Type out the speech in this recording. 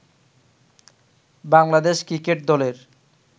Bangladesh cricket দলের